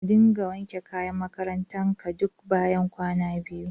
Ka dinga wanke kayan makarantar ka duk bayan kwana biyu